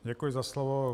Děkuji za slovo.